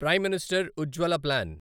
prime minister Ujjwala plan